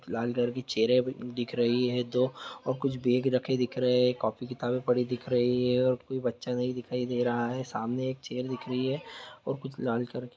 लाल colour की चेयरे दिख रही है दो और कुछ बेग रखे दिख रहे है कॉपी-किताबे पड़ी दिख रही है और कुछ बच्चा दिखाई नहीं दे रहा है सामने एक चेयर दिख रही है और कुछ लाल कलर --